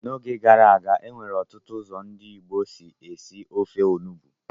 N'oge gara aga, e nwere ọtụtụ ụzọ ndị Igbo si esi ofe onugbu.